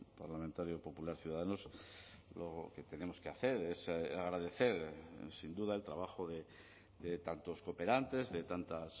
parlamentario popular ciudadanos lo que tenemos que hacer es agradecer sin duda el trabajo de tantos cooperantes de tantas